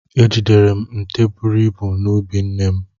Ejidere m nte buru ibu n'ubi nne m.